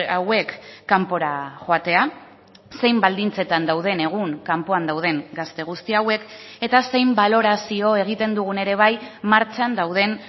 hauek kanpora joatea zein baldintzetan dauden egun kanpoan dauden gazte guzti hauek eta zein balorazio egiten dugun ere bai martxan dauden